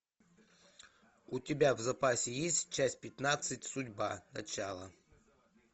у тебя в запасе есть часть пятнадцать судьба начало